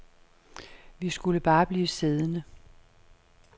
Vi skulle bare blive siddende.